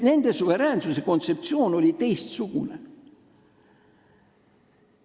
Nende suveräänsuse kontseptsioon oli teistsugune.